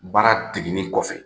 Baara degeli kɔfɛ